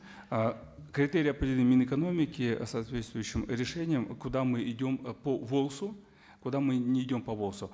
ы критерии определены минэкономики соответствующим решением куда мы идем по волс у куда мы не идем по волс у